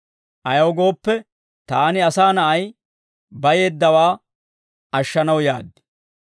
Ayaw gooppe, taani, Asaa Na'ay, bayeeddawaa ashshanaw yaad.